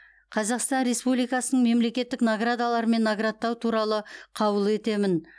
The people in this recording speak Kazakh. қазақстан республикасының мемлекеттік наградаларымен наградтау туралы қаулы етемін